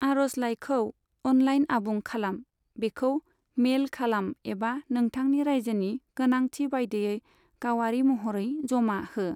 आर'जलाइखौ अनलाइन आबुं खालाम, बेखौ मेल खालाम एबा नोंथांनि रायजोनि गोनांथि बायदियै गावारि महरै जमा हो।